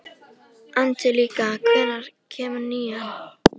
Angelíka, hvenær kemur nían?